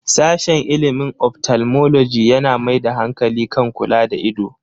Sashen ilimin 'Ophthalmology' yana mai da hankali kan kula da ido.